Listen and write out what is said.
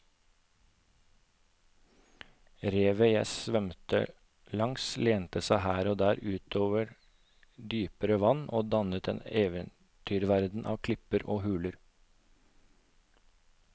Revet jeg svømte langs lente seg her og der ut over dypere vann og dannet en eventyrverden av klipper og huler.